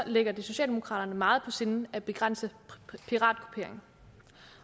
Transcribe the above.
ligger det socialdemokraterne meget på sinde at begrænse piratkopiering